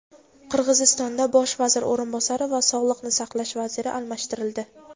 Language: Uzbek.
Qirg‘izistonda bosh vazir o‘rinbosari va sog‘liqni saqlash vaziri almashtirildi.